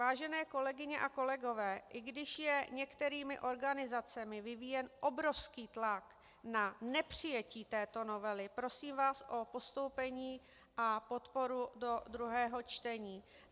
Vážené kolegyně a kolegové, i když je některými organizacemi vyvíjen obrovský tlak na nepřijetí této novely, prosím vás o postoupení a podporu do druhého čtení.